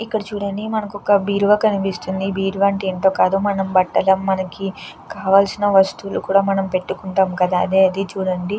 ఇక్కడ చూడండి మనకొక బీరువా కనిపిస్తుంది బీరువా అంటే ఏంటో కాదు మనం బట్టలు మనకి కావలసిన వస్తువులు కూడా మనం పెట్టుకుంటాం కద అదే ఇది చుడండి.